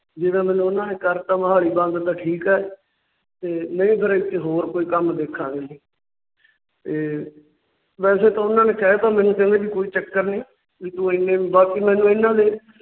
ਜੇ ਤਾਂ ਮੈਨੂੰ ਇਹਨਾਂ ਨੇ ਕਰਤਾ Done ਮੋਹਾਲੀ ਠੀਕ ਹੈ। ਤੇ ਨਹੀਂ ਫਿਰ ਇੱਥੇ ਹੋਰ ਕੋਈ ਕੰਮ ਦੇਖਾਂਗੇ ਜੀ । ਤੇ ਵੈਸੇ ਤਾਂ ਉਹਨਾਂ ਨੇ ਕਹਿ ਤਾਂ ਮੈਨੂੰ ਕਹਿੰਦੇ ਕੋਈ ਚੱਕਰ ਨਹੀਂ। ਬਾਕੀ ਮੈਨੂੰ ਇਹਨਾਂ ਨੇ